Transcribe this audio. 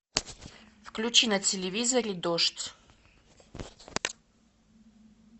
включи на телевизоре дождь